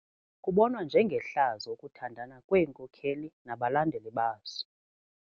Kubonwa njengehlazo ukuthandana kweenkokeli nabalandeli bazo.